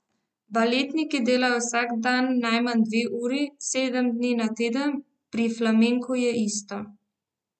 Baletniki delajo vsak dan najmanj dve uri, sedem dni na teden, pri flamenku je isto.